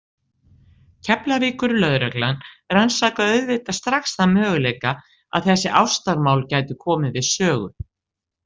Keflavíkurlögreglan rannsakaði auðvitað strax þann möguleika að þessi ástamál gætu komið við sögu.